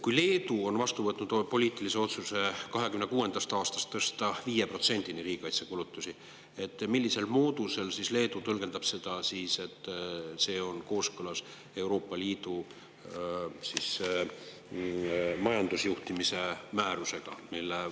Kui Leedu on vastu võtnud poliitilise otsuse tõsta 2026. aastast riigikaitsekulutused 5%‑ni, siis millisel moodusel Leedu tõlgendab seda, et see on kooskõlas Euroopa Liidu majandusjuhtimise määrusega?